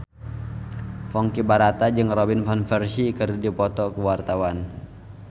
Ponky Brata jeung Robin Van Persie keur dipoto ku wartawan